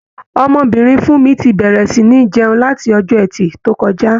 Ọmọbìnrin Fúnmi ti bẹ̀rẹ̀ sì ní jẹun, láti Ọjọ́ẹtì tó kọjá.